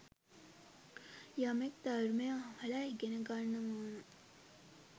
යමෙක් ධර්මය අහල ඉගෙන ගන්නවානම්